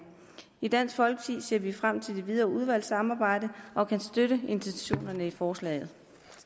i dansk folkeparti ser vi frem til det videre udvalgsarbejde og kan støtte intentionerne i forslaget